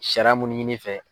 Sariya munnu ɲini i fɛ